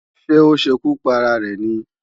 Ṣé ó ṣekú para rẹ̀ ni?